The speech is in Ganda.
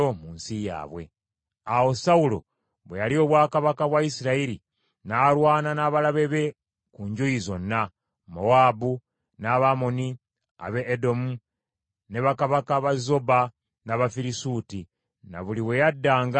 Awo Sawulo bwe yalya obwakabaka bwa Isirayiri n’alwana n’abalabe be ku njuyi zonna: Mowaabu, n’Abamoni, ab’e Edomu, ne bakabaka ba Zoba, n’Abafirisuuti, na buli we yaddanga n’abawangula.